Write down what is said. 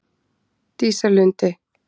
Dísarlandi